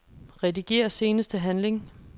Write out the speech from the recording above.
Rediger seneste handling.